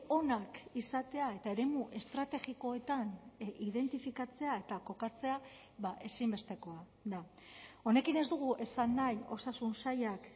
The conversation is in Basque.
onak izatea eta eremu estrategikoetan identifikatzea eta kokatzea ezinbestekoa da honekin ez dugu esan nahi osasun sailak